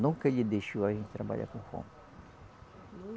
Nunca ele deixou a gente trabalhar com fome.